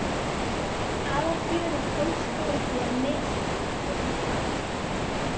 Aðalfjörið fólst þó í að misþyrma hjónarúminu.